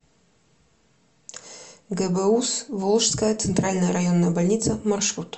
гбуз волжская центральная районная больница маршрут